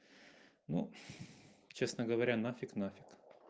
ну честно говоря на фиг на фиг